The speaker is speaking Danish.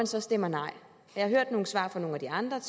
så stemmer nej jeg har hørt nogle svar fra nogle af de andre